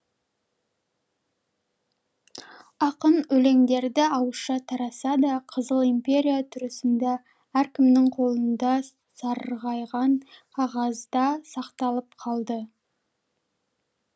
ақын өлеңдерді ауызша таратса да қызыл империя тұсында әркімнің қолында сарғайған қағазда сақталып қалды